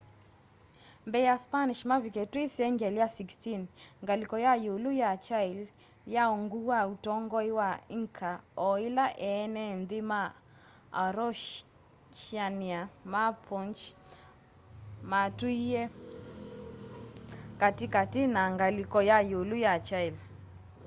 mbee ya spanish mavike twi sengyali ya 16 ngaliko ya iulu ya chile yai ungu wa utongoi wa inca o ila eene nthi ma araucanian mapuche matuie kati kati na ngaliko ya iulu ya chile